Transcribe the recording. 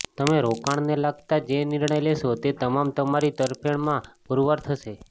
તમે રોકાણને લગતા જે નિર્ણય લેશો તે તમામ તમારી તરફેણમાં પુરવાર થશે